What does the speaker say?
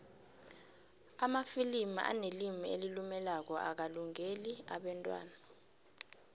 amafilimu anelimu elilumelako akalungeli abentwana